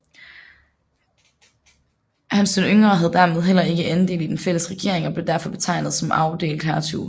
Hans den Yngre havde dermed heller ikke andel i den fælles regering og blev derfor betegnet som afdelt hertug